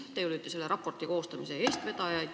Teie olite selle raporti koostamise eestvedajaid.